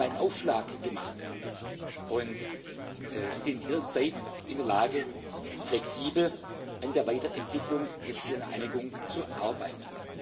Wir haben einen Aufschlag gemacht und sind jederzeit in der Lage, flexibel an der Weiterentwicklung mit dem Ziel einer Einigung zu arbeiten.